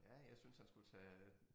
Ja jeg synes han skulle tage